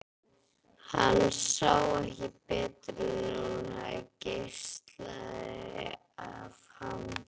Hann sá ekki betur en að hún geislaði af hamingju.